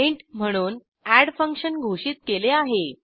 int म्हणून add function घोषित केले आहे